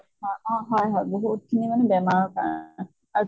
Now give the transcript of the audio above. হয় অ হয় হয় বহুত খিনি বেমাৰৰ কাৰণ আ